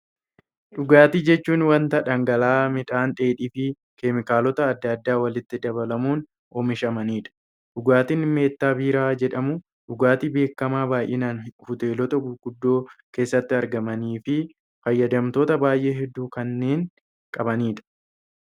Dhugaatii jechuun waanta dhangala'aa, midhaan dheedhii fi keemikaalota addaa addaa walitti dabalamuun oomishamanidha. Dhugaatiin meettaa biiraa jedhamu, dhugaatii beekamaa baayyinaan hoteelota gurguddo keessatti gurguramanii fi fayyadamtoota baayyee hedduu kanneen qabanidha.